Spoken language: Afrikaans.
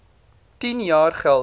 tien jaar geldig